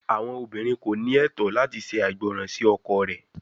Awọn obinrin ko ni ẹtọ lati ṣe aigbọran si ọkọ rẹ